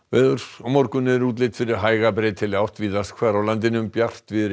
á morgun er útlit fyrir hæga breytilega átt víðast hvar á landinu bjartviðri